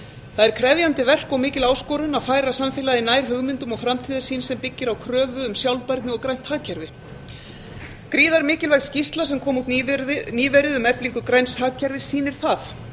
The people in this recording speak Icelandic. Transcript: það er krefjandi verk og mikil áskorun að færa samfélagið nær hugmyndum og framtíðarsýn sem byggir á kröfu um sjálfbærni og grænt hagkerfi gríðarmikilvæg skýrsla sem kom út nýverið um eflingu græns hagkerfis sýnir það